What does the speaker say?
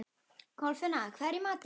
Kolfinna, hvað er í matinn?